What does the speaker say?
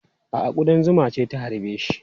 A'a, kuɗan zuma ce ta harbe shi.